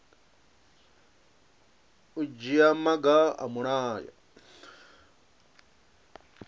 u dzhia maga a mulayo